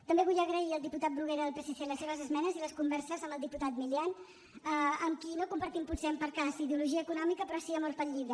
també vull agrair al diputat bruguera del psc les esmenes i les converses amb el diputat milián amb qui no compartim potser posem per cas ideologia econòmica però sí amor pel llibre